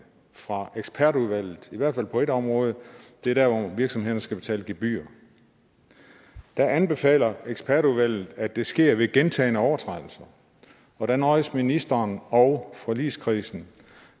fra ekspertudvalget i hvert fald på ét område og det er der hvor virksomhederne skal betale gebyrer der anbefaler ekspertudvalgt at det sker ved gentagne overtrædelser og der nøjes ministeren og forligskredsen